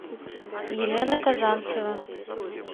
елена казанцева